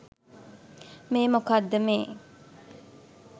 මේ මොකක්ද මේ